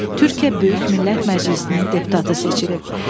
Türkiyə Böyük Millət Məclisinin deputatı seçilib.